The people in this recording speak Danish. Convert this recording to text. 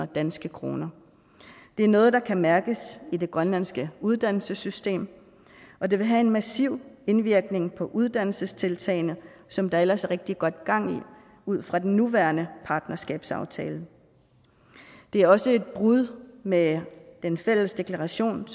danske kroner det er noget der kan mærkes i det grønlandske uddannelsessystem og det vil have en massiv indvirkning på uddannelsestiltagene som der ellers er rigtig godt gang i ud fra den nuværende partnerskabsaftale det er også et brud med den fælles deklaration